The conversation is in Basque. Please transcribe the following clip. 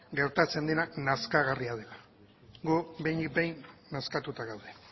gertatzen dena nazkagarria dela guk behinik behin nazkatuta gaude